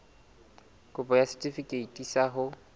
kopo ya setefikeiti sa ho